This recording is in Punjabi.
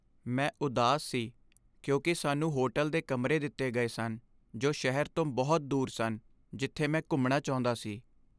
ਮੈਂ ਉਦਾਸ ਸੀ ਕਿਉਂਕਿ ਸਾਨੂੰ ਹੋਟਲ ਦੇ ਕਮਰੇ ਦਿੱਤੇ ਗਏ ਸਨ ਜੋ ਸ਼ਹਿਰ ਤੋਂ ਬਹੁਤ ਦੂਰ ਸਨ ਜਿੱਥੇ ਮੈਂ ਘੁੰਮਣਾ ਚਾਹੁੰਦਾ ਸੀ।